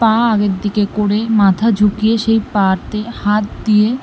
পা আগের দিকে করে মাথা ঝুঁকিয়ে সেই পা তে হাত দিয়ে--